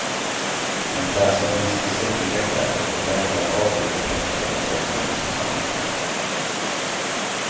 Man klär sig mest i säckiga kläder, och vägrar bada i offentliga bassänger eller på stranden.